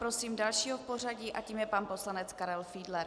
Prosím dalšího v pořadí a tím je pan poslanec Karel Fiedler.